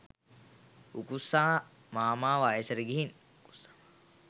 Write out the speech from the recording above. උකුස්සා මාමා වයසට ගිහින්